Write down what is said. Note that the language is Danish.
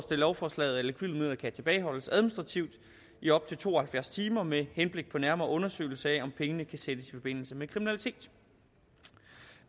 lovforslaget at likvide midler kan tilbageholdes administrativt i op til to og halvfjerds timer med henblik på nærmere undersøgelse af om pengene kan sættes i forbindelse med kriminalitet